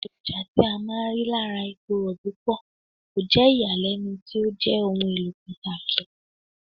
Àwọn èròjà tí a máa ń rí lára epo Rọ̀bì pọ̀, kò jẹ́ ìyàlẹ́nu tí ó jẹ́ ohun èlò pàtàkì.